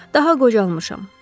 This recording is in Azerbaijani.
Daha qocalmışam.